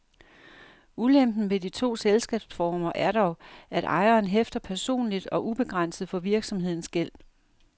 Ulempen ved de to selskabsformer er dog, at ejeren hæfter personligt og ubegrænset for virksomhedens gæld.